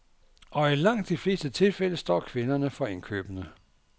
Og i langt de fleste tilfælde står kvinderne for indkøbene.